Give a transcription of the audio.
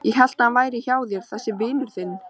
Ég hélt að hann væri hjá þér þessi vinur þinn.